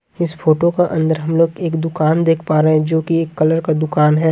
इस फोटो का अंदर हम लोग एक दुकान देख पा रहे हैंजोकि एक कलर का दुकान है।